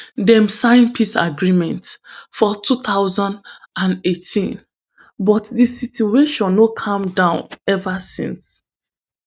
dem sign peace agreement for two thousand and eighteen but di situation no calm down ever since